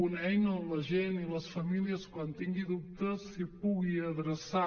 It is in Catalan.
una eina on la gent i les famílies quan tinguin dubtes s’hi puguin adreçar